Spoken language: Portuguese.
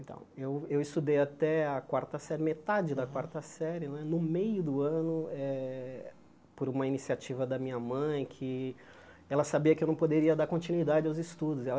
Então, eu eu estudei até a quarta série, metade da quarta série né, no meio do ano eh, por uma iniciativa da minha mãe que ela sabia que eu não poderia dar continuidade aos estudos. E ela